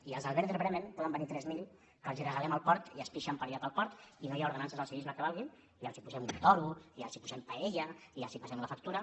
i els del werder bremen en poden venir tres mil que els regalem el port i es pixen per allà pel port i no hi ha ordenances del civisme que valguin i els posem un toro i els posem paella i els passem la factura